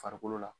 Farikolo la